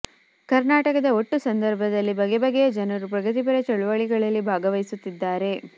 ಕರ್ನಾಟಕದ ಒಟ್ಟು ಸಂದರ್ಭದಲ್ಲಿ ಬಗೆ ಬಗೆಯ ಜನರು ಪ್ರಗತಿಪರ ಚಳುವಳಿಗಳಲ್ಲಿ ಭಾಗವಹಿಸುತ್ತಿದ್ದಾರೆ